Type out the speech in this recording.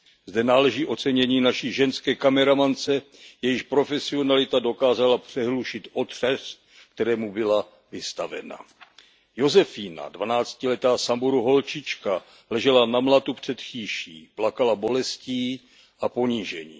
Zde náleží ocenění naší ženské kameramance, jejíž profesionalita dokázala přehlušit otřes, kterému byla vystavena. Josefína dvanáctiletá Samburu holčička ležela na mlatu před chýší, plakala bolestí a ponížením.